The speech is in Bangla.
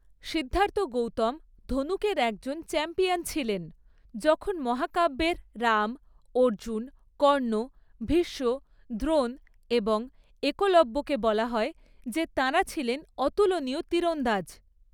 সিদ্ধার্থ গৌতম ধনুকের একজন চ্যাম্পিয়ন ছিলেন, যখন মহাকাব্যের রাম, অর্জুন, কর্ণ, ভীষ্ম, দ্রোণ এবং একলব্যকে বলা হয় যে তাঁরা ছিলেন অতুলনীয় তীরন্দাজ।